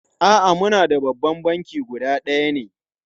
A'a, muna da babban banki guda ɗaya ne.